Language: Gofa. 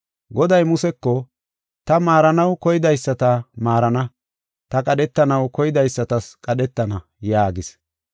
Goday Museko, “Ta maaranaw koydaysata maarana; ta qadhetanaw koydaysatas qadhetana” yaagis.